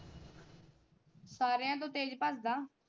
ਸਾਰਿਆਂ ਤੋਂ ਤੇਜ ਭੱਜਦਾ।